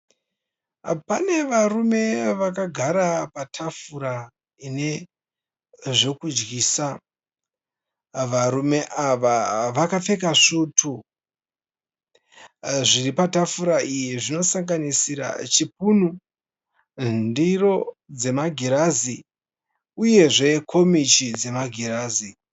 Pane varume vakagara patafura ine zvekudyisa. Varume ava vakapfeka svutu. Zviri patafura iyi zvinosanganisira chipunu, ndiro dzemagirazi uyezve komichi dzemagirazi.